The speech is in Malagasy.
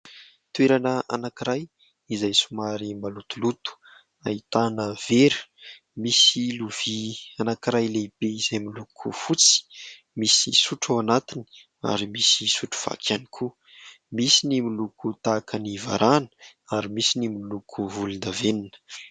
Toerana anankiray izay somary malotoloto ahitana vera, misy lovia anankiray lehibe izay miloko fotsy, misy sotro ao anatiny ary misy sotro vaky ihany koa. Misy ny miloko tahaka ny varahana ary misy ny miloko volondavenona.